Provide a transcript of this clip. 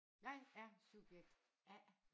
Jeg er subjekt A